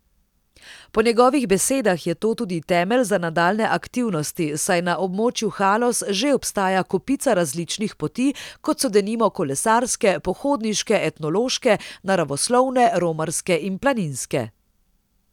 Po njegovih besedah je to tudi temelj za nadaljnje aktivnosti, saj na območju Haloz že obstaja kopica različnih poti, kot so denimo kolesarske, pohodniške, etnološke, naravoslovne, romarske in planinske.